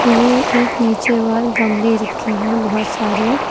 ये एक नीचे वाल गमले रखे हैं बहुत सारे।